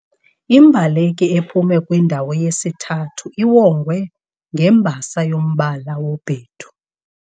Imbaleki ephume kwindawo yesithathu iwongwe ngembasa yombala wobhedu.